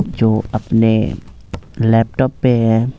जो अपने लैपटॉप पे है।